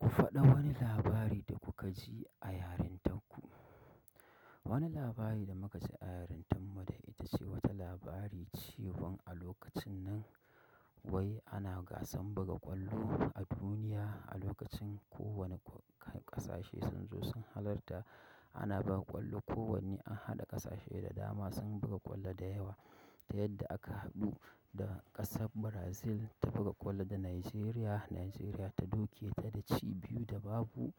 Ku faɗa mana labari da kukaji a yarintar ku wani labari da muka ji a yarintan mu da ita ce wata labari cewan a lokacin nan wai ana gasan buga ƙwallo a duniya. A lokacin ko wane ƙa-kasashe sun zo sun halarta. Ana buga ƙwallo kowanni an haɗa ƙasashe da dama sun buga ƙwallo da yawa. Ta yadda aka haɗu da ƙasar Brazil ta buga ƙwallo da Najeriya. Najeriya ta duke ta da ci biyu da babu.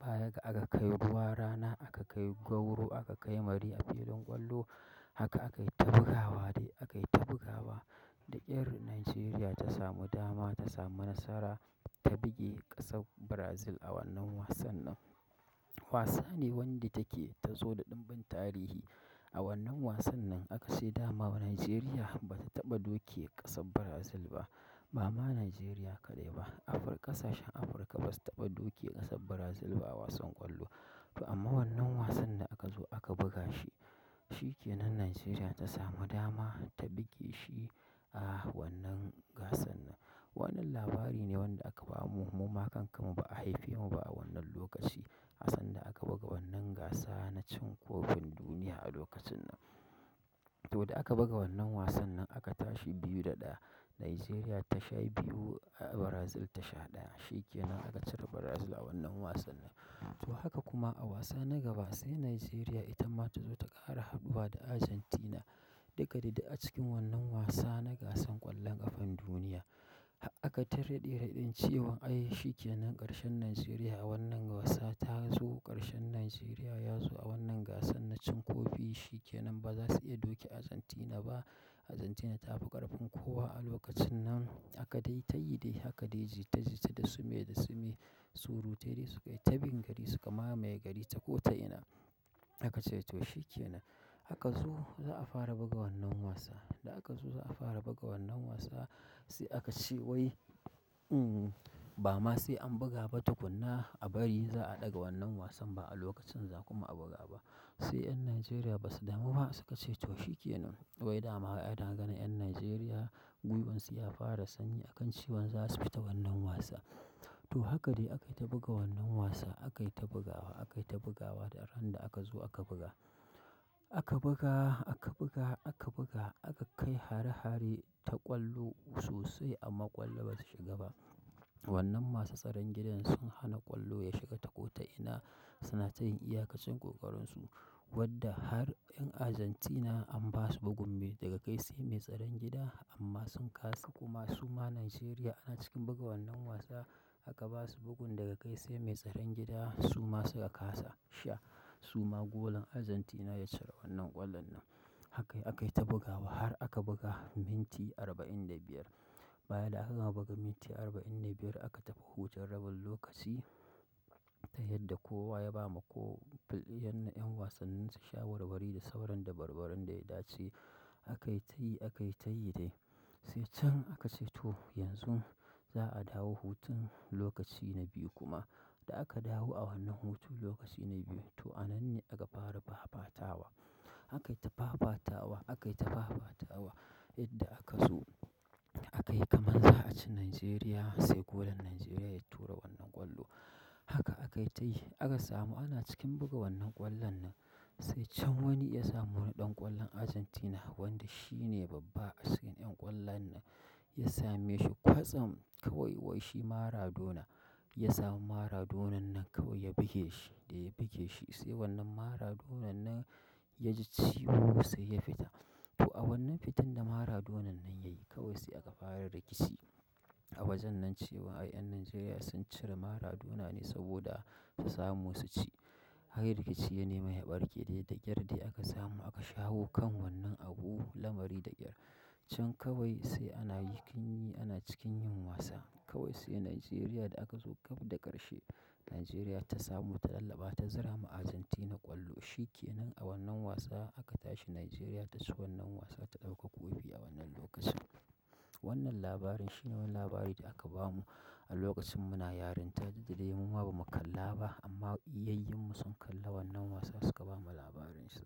Baya ga aka kai ruwa rana, aka kai gwauro, aka kai mari a filin ƙwallo. Haka aka yi ta bugawa dai aka yi ta bugawa. Da ƙyar Najeriya ta samu dama ta samu nasara ta buge ƙasar Brazil a wannan wasan nan. Wasane wanda take ta zo da ɗimbin tarihi. A wannan wasan nan aka ce dama Najeriya ba ta taɓa duke ƙasar Brazil ba. Ba ma Najeriya kaɗai ba, Afir-- ƙasashen Afirka basu taɓa duke ƙasar Brazil ba a wasan ƙwallo. To amma wannan wasan da aka zo aka buga shi, shi ke nan Najeriya ta samu dama ta buge shi. A wannan gasan nan. Wannan labari ne wanda aka bamu mu ma kanka mu ba a haife mu ba a wannan lokaci. A sanda aka buga wannan gasa na cin kofin duniya a lokacin nan. To da aka buga wannan wasan nan aka tashi biyu da ɗaya. Najeriya ta sha biyu, Brazil ta sha ɗaya. Shi ke nan aka cire Brazil a wannan wasan nan. To haka kuma a wasa na gaba sai Najeriya ita ma ta zo ta ƙara haɗuwa da Argentina. Daga didda a cikin wannan wasa na gasan ƙwallon ƙafan duniya. Aka ta raɗe-raɗin cewa ai shikenan ƙarshen Najeriya a wannan wasa tazo ƙarshe Najeriya yazo a wannan gasa na cin kofi shikenan bazasu iya doke Argentina ba Argentina ta fi ƙarfin kowa a lokacin nan. Akayi dai ta yi dai haka dai jita jita da sume da sume, surutai dai sukayi ta bin gari su kama mamaye gari ta ko ta ina. Aka ce to shi ke nan. Aka zu za'a fara buga wannan wasa. Da akazo za'a fara buga wannan wasa, sai akace wai, um bama sai an buga ba tukkuna a bari za'a ɗaga wannan wasa ba'a lokacin za'a buga ba sai 'yan Najeriya basu damu ba su ka ce to shi ke nan. Wai dama ana ganin 'yan Najeriya, guiwansu ya fara sanyi akan cewan za su fita wannan wasa. To haka dae akaita buga wannan wasa akaita bugawa, akaita bugawa, da ran da akazo aka buga aka buga, aka buga, aka buga, aka kai hare-hare ta ƙwallo sosai amma ƙwallo bata shiga ba. Wannan masu tsaron gidan sun hana ƙwallo ya shiga ta ko ta ina. Sunata yin iyakacin ƙoƙarin su. Wadda har 'yan Argentina an ba su bugun mai daga kai sai mai tsaron gida amma sun kasa. Kuma suma Najeriya ana cikin buga wannan wasa aka ba su bugun daga kai sai mai tsaron gida suma suka kasa. Sha suma golan Argentina ya cire wannan ƙwallon nan. Akai akai yi ta bugawa har aka buga minti arba'in da biyar. Baya da aka gama buga minti arba'in da biyar aka tafi hutun rabin lokaci. Ta yadda kowa ya ba ma ko fil-- yan 'ƴan wasannin sa shawarwari da sauraron dabarbaron da ya dace. Aka yi ta yi, aka yi ta yi dai. Sai can aka ce to yanzu za'a dawo hutun lokaci na biyu kuma. Da aka dawo a wannan hutun lokaci na biyu to anan ne aka fara fafatawa. Aka yi ta fafatawa, aka yi ta fafatawa. Yadda aka zo aka yi kamar za a ci Najeriya sai golan Najeriya ya tura wannan ƙwallo. Haka aka yi ta yi aka samu ana cikin buga wannan ƙwallon nan sai can wani ya samu wani ɗan ƙwallon Argentina wanda shine babba a cikin 'yan ƙwallon nan ya same shi kwatsam kawai wai shi Maradona. Ya sami maradona nan kawai ya buge shi, ɗaya buge shi, sai wannan maradonan nan ya ji ciwo sai ya fita. To a wannan fitan da Maradona nan ya yi kawai sai aka fara rikici. A wajen nan cewa ai 'yan Najeriya sun cire Maradona ne saboda su samu su ci. Har rikici ya nemi haɓarƙe dai da gyar dai aka samu aka shawo kan wannan abu lamari da ƙyar. Can kawai sai ana yi kin yi, ana cikin yin wasa. Kawai sai Najeriya da aka zo gab da ƙarshe Najeriya ta samu ta tallafa, ta zura ma Argentina ƙwallo. Shi ke nan a wannan wasa aka tashi Najeriya ta ci wannan wasa ta ɗauka kofi a wannan lokacin. Wannan labarin shi ne wani labari da aka bamu a lokacin muna yarinta duk dadai mu ma ba mu kalla ba amma iyayyinmu sun kalla wannan wasa suka bamu labarin su.